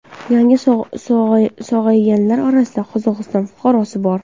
Yangi sog‘ayganlar orasida Qozog‘iston fuqarosi bor.